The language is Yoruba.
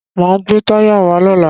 Máa gbé táyà wá lọ́la.